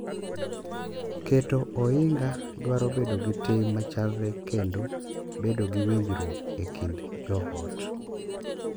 Keto ohinga dwaro bedo gi tim machalre kendo bedo gi winjruok e kind jo ot.